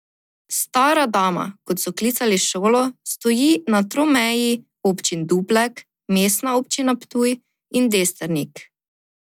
Stara dama, kot so klicali šolo, stoji na tromeji občin Duplek, Mestna občina Ptuj in Destrnik.